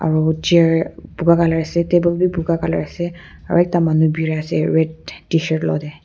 aro chair buka colour ase table bi buka colour ase aro ekta manu birai ase red tshirt lukut dae.